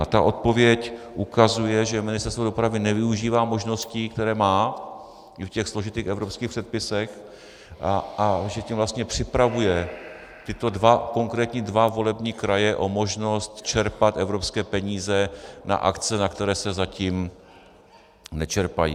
A ta odpověď ukazuje, že Ministerstvo dopravy nevyužívá možností, které má i v těch složitých evropských předpisech, a že tím vlastně připravuje tyto konkrétní dva volební kraje o možnost čerpat evropské peníze na akce, na které se zatím nečerpají.